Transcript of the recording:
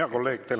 Hea kolleeg!